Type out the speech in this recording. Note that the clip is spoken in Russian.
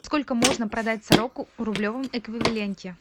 сколько можно продать сороку в рублевом эквиваленте